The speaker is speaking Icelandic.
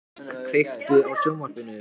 Eberg, kveiktu á sjónvarpinu.